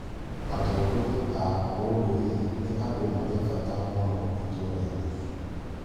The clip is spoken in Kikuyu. Atongoria a ũndũire nĩ andũ marĩ bata mũno itũrainĩ.